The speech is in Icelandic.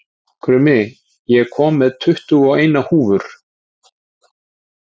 Krummi, ég kom með tuttugu og eina húfur!